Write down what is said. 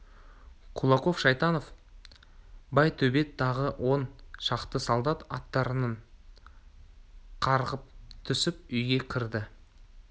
кулаков шайтанов байтөбет тағы он шақты солдат аттарынан қарғып түсіп үйге кірді